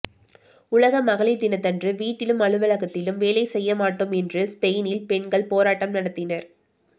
உலக மகளிர் தினத்தன்று வீட்டிலும் அலுவலகத்திலும் வேலை செய்ய மாட்டோம் என்று ஸ்பெய்னின் பெண்கள் போராட்டம் நடத்தினர்